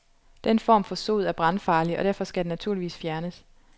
Den form for sod er brandfarlig, og derfor skal den naturligvis fjernes.